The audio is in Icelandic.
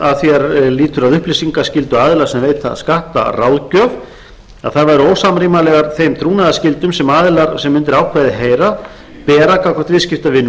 að því er lýtur að upplýsingaskyldu aðila sem veita skattaráðgjöf að væru ósamrýmanleg þeim trúnaðarskyldum sem aðilar sem undir ákvæðið heyra bera gagnvart viðskiptavinum